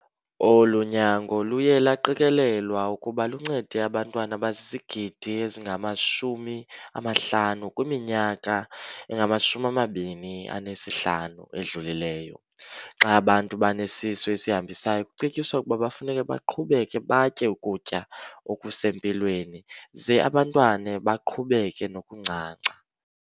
Olu nyango luye lwaqikelelwa ukuba luncede abantwana abazizigidi ezingama-50 kwiminyaka engama-25 edlulileyo. Xa abantu benesisu esihambisayo kucetyiswa ukuba kufuneka baqhubeke batye ukutya okusempilweni ze abantwana baqhubeke nokuncanca.